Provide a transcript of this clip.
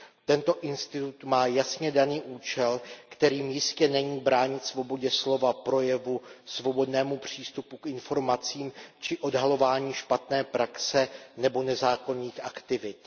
Tento institut má jasně daný účel, kterým jistě není bránit svobodě slova, projevu, svobodnému přístupu k informacím či odhalování špatné praxe nebo nezákonných aktivit.